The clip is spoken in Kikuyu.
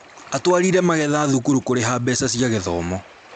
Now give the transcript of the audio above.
Atwarire magetha thukuru kũrĩha mbeca cia gĩthomo